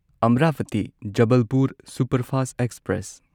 Amravati Jabalpur superfast express